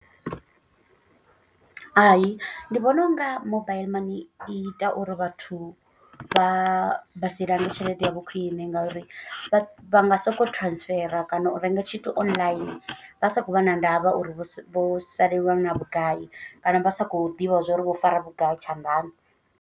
Hai ndi vhona u nga mobaiḽi mani i ita uri vhathu vha silange tshelede ya vho khwiṋe. Ngauri vha nga soko transfer kana u renga tshithu online. Vha sa khou vha na ndavha uri vho vho salelwa nga vhugai. Kana vha sa khou ḓivha zwa uri vho fara vhugai tshanḓani.